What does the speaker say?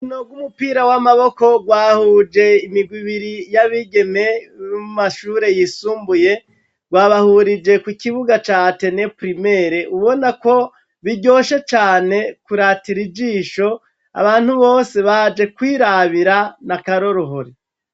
Urukino rw'umupira w'amaboko rwahuje imigwi ibiri y'abigeme bo mu mashure yisumbuye, rwabahurije ku kibuga ca Atene pirimere ubonako biryoshe cane kuratira ijisho, abantu bose baje kwirabira ni akaroruhore.